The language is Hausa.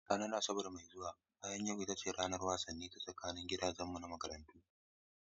A ranar Asabar mai zuwa bayan yau ita ce ranar wasanni ta tsakanin gidajenmu na makarantarmu.